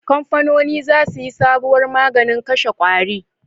Kamfanoni za su yi sabuwar maganin kashe ƙwari